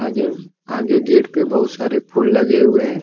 आगे गेट पे बहुत सारे फूल लगे हुए है।